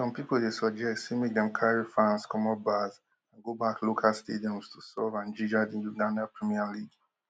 some pipo dey suggest say make dem carry fans comot bars and go back local stadiums to solve and ginger di ugandan premier league